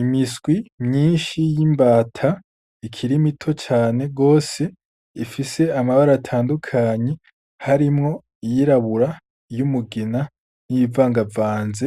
Imiswi myinshi y'imbata ikiri mito cane gose ifise amabara atandukanye harimwo iyirabura , iyumugina niyivangavanze